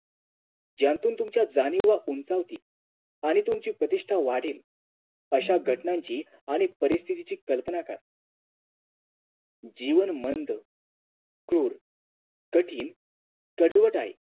ज्यातून तुमच्या जाणीवा उंचावतील आणि तुमची प्रतिष्ठा वाढेल अश्या घटनांची आणि परिस्तिथीची कलपना करा जीवन मंद क्रूर कठीण कडवट आहे